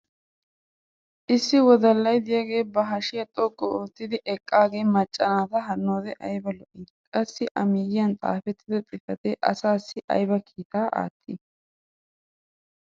Issi wodallay diyaagee ba hashiyaa xoqqu ottidi eqaagee maca naata hanoode ayba lo'ii! Qassi a miyiyan xaafettida xifatee asaassi ayba kiittaa attii?